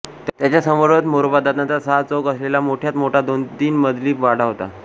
त्याच्या समोरच मोरोबादादांचा सहा चौक असलेला मोठाच्या मोठा दोनतीन मजली वाडा होता